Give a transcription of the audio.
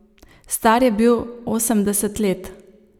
Star je bil osemdeset let.